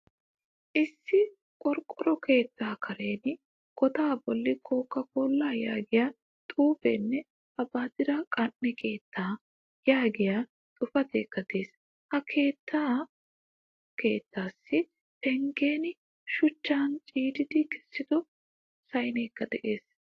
Issi qorqoro keetta karen goda bolli koka kola yaagiyaa xuufenne abadire qan'e keetta yaagiyaa xuufekka de'ees. Ha katta keettassi penggen shuchcha ciiridi hiixido sa'aykka de'ees.